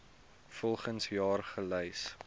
volgens jaar gelys